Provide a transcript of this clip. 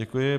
Děkuji.